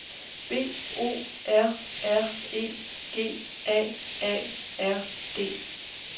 B O R R E G A A R D